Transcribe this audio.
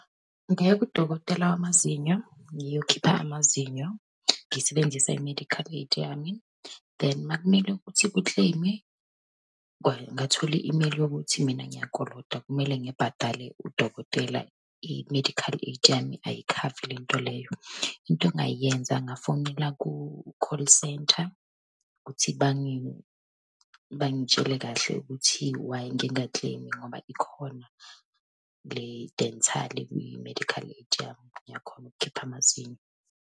Ngaya kudokotela wamazinyo ngiyokhipha amazinyo, ngisebenzisa i-medical aid yami. Then uma kumele ukuthi kukleyime, ngathola i-imeyili yokuthi mina ngiyakolota, kumele ngibhadale udokotela, i-medical aid yami ayikhavi lento leyo. Into engayenza ngefonela ku-call centre, ukuthi bangitshele kahle ukuthi why ngingakleyimi ngoba ikhona le-dental kwi-medical aid yabo, ngiyakhona ukukhipha amazinyo.